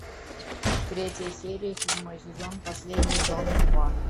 третья серия седьмой сезон последний дом два